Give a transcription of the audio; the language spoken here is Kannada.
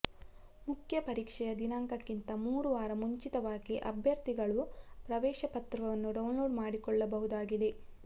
ಮುಖ್ಯ ಪರೀಕ್ಷೆಯ ದಿನಾಂಕಕ್ಕಿಂತ ಮೂರು ವಾರ ಮುಂಚಿತವಾಗಿ ಅಭ್ಯರ್ಥಿಗಳು ಪ್ರವೇಶಪತ್ರವನ್ನು ಡೌನ್ಲೋಡ್ ಮಾಡಿಕೊಳ್ಳಬಹುದಾಗಿದೆ